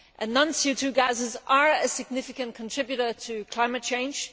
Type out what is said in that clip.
non CO 2 gases are a significant contributor to climate change.